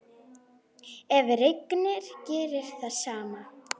Ef rignir gerist það sama.